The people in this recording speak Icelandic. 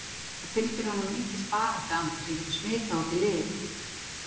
Það fylgir honum mikill baráttu andi sem getur smitað út í liðið?